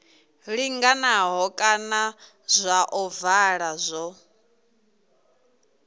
linganaho kana zwa ovala zwo